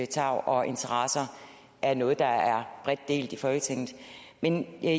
tarv og interesser er noget der er bredt delt i folketinget men jeg